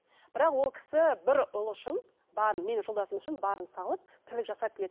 бірақ ол кісі бір ұлы үшін барын менің жолдасым үшін барын салып тірлік жасап келеді